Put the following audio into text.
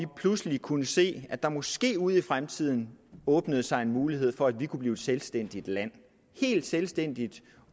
pludselig kunne se at der måske ude i fremtiden åbner sig en mulighed for at vi kunne blive et selvstændigt land helt selvstændigt